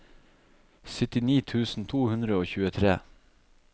syttini tusen to hundre og tjuetre